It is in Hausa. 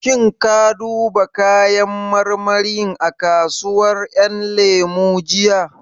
Shin ka duba kayan marmarin a kasuwar ƴan lemu jiya?